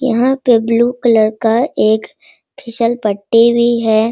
यहाँ पे blue colour का एक फिसल पटी भी है |